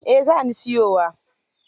Eh za ni siyowa.